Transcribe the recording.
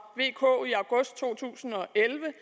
vk i august to tusind og elleve